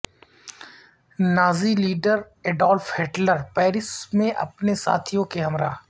Nazi leader Adolf Hitler Paris میں اپنے ساتھیوں کے ہمراہ